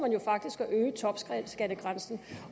jo faktisk at øge topskattegrænsen